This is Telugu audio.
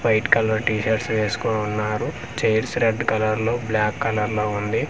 వైట్ కలర్ టి షర్ట్ వేసుకొని ఉన్నారు చైర్స్ రెడ్ కలర్ లో బ్లాక్ కలర్ లో ఉంది.